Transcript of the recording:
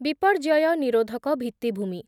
ବିପର୍ଯ୍ୟୟ ନିରୋଧକ ଭିତ୍ତିଭୂମି